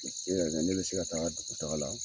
E ka kɛ ne be se ka taga tata taga la